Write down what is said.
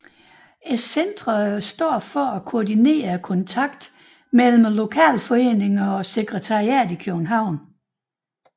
Centrene står for at koordinere kontakten mellem lokalforeningerne og sekretariatet i København